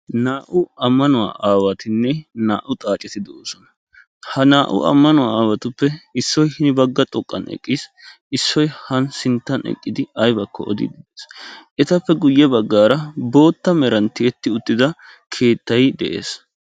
Naa"u ammanuwa aawatinne naa''u xaaceti de'oosona Ha naa"u ammanuwa aawatuppe issoy hini bagga xoqqan eqqiis. Issoy han sinttan uttidi aybbakko odiide de'ees. Etappe guyye baggaara bootta meran tiyyeti uttida keettay de'ees.